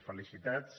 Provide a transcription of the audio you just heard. felicitats